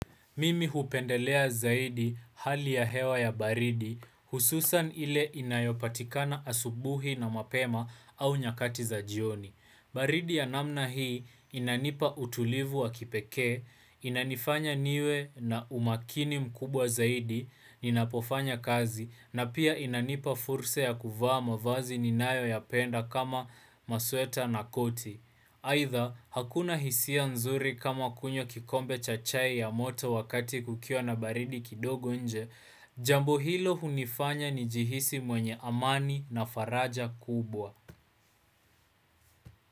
Mimi hupendelea zaidi hali ya hewa ya baridi hususan ile inayopatikana asubuhi na mapema au nyakati za jioni. Baridi ya namna hii inanipa utulivu wa kipekee, inanifanya niwe na umakini mkubwa zaidi, ninapofanya kazi, na pia inanipa fursa ya kuvaa mavazi ninayo yapenda kama masweta na koti. Haidha, hakuna hisia nzuri kama kunywa kikombe cha chai ya moto wakati kukiwa na baridi kidogo nje, jambo hilo hunifanya nijihisi mwenye amani na faraja kubwa.